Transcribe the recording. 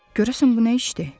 Görəsən bu nə işdir?